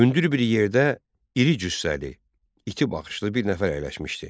Hündür bir yerdə iri cüssəli, iti baxışlı bir nəfər əyləşmişdi.